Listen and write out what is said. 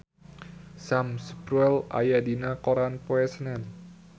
Sam Spruell aya dina koran poe Senen